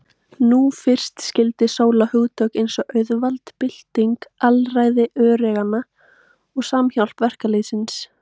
Nú fyrst skildi Sóla hugtök eins og auðvald, bylting, alræði öreiganna og samhjálp verkalýðsins.